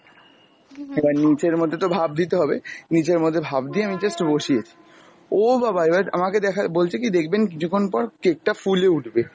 এবার নিচের মধ্যে তো ভাপ দিতে হবে, নিচের মধ্যে ভাপ দিয়ে আমি just বসিয়েছি, ও বাবা এবারা আমাকে দেখা বলছে কী দেখবেন কিছুক্ষণ পর cake টা ফুলে উঠবে,